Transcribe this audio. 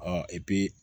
Ɔ